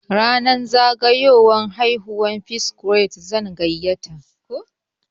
Ranar zagayowar haihuwata, P-Squre zan gayyata.